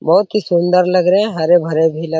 बहुत ही सुन्दर लग रहे है हरे-भरे भी लग --